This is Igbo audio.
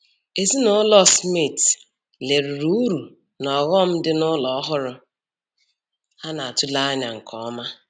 Ezinụlọ Smith leruru uru na ọghọm dị na ụlọ ọhụrụ ha na-atụle anya nke ọma